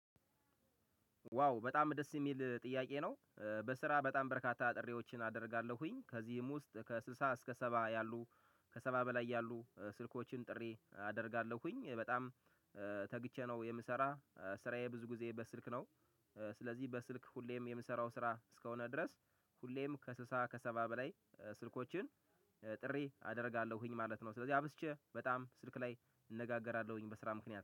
ዋው በጣም ደስ ሚል ጥያቄ ነው። በስራ በጣም በርካታ ጥሬዎችን አደርጋለሁኝ ከዚህም ውስጥ ከስልሳ እስከ ሰባ ያሉ። ከሰባ በላይ ያሉ ስልኮችን ጥሪ አደርጋለሁኝ በጣም። ተግቼ ነው የምሰራ ስራዬ ብዙ ጊዜ በስልክ ነው። ስለዚህ በስልክ ሁሌም የምሰራው ስራ እስከሆነ ድረስ ሁሌም ከስልሳ ከሰባ በላይ ስልኮችን። ጥሪ አደርጋለሁኝ ማለት ነው። ስለዚህ አብዝቼ በጣም ስልክ ላይ እንነጋገራለሁኝ። በስራ ምክንያት